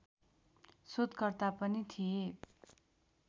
शोधकर्ता पनि थिए